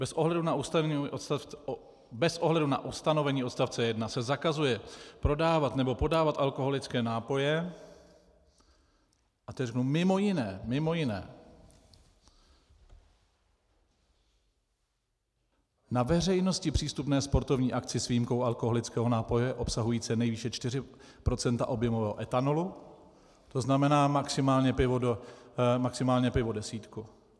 Bez ohledu na ustanovení odstavce 1 se zakazuje prodávat nebo podávat alkoholické nápoje - a teď řeknu - mimo jiné, mimo jiné na veřejnosti přístupné sportovní akci s výjimkou alkoholického nápoje obsahujícího nejvýše 4 % objemového etanolu, to znamená maximálně pivo desítku.